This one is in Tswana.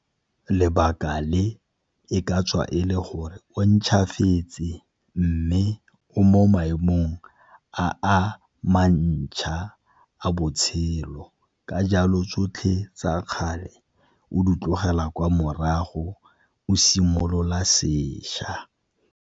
Lebaka le e ka tswa e le gore o ntšhwafetse, mme o mo maemong a a mantšhwa a botshelo ka jalo tsotlhe tsa kgale o di tlogela kwa morago o simolola sešwa.